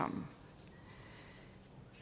for